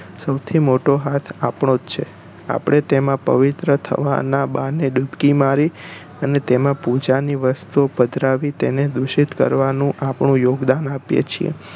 સૌથું મોટો હાથ આપણો જ છે આપણે તેમાં પવિત્ર થવા નાં બહાને ડૂબકી મારી અને તેમાં પૂજા ની વસ્તુ ઓ પધરાવી તેને દુષિત કરવામાં આપણું યોગદાન આપીયે છે